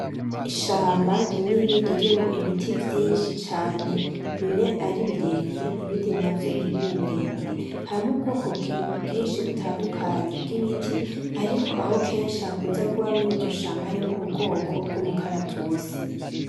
Ishamba rinini ririmwo ibinti vyinshi cane bimwe ari birebire ibindi navyo ntibibe birebire, harimwo ubwoko bwinshi butandukanye bw'ibiti ariko aho kenshi hakunze kuba muriryo shamba harimwo ubwoko bw'umukaratusi.